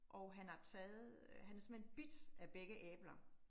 Og han har taget øh, han har simpelthen bidt af begge æbler